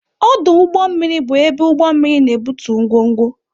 Ọdụ ụgbọ mmiri bụ ebe ụgbọ mmiri na-ebutu ngwongwo.